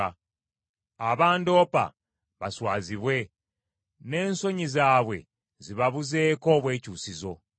Abandoopa baswazibwe, n’ensonyi zaabwe zibabuzeeko obwekyusizo.